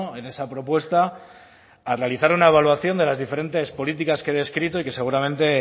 en esa propuesta a realizar una evaluación de las diferentes políticas que he descrito y que seguramente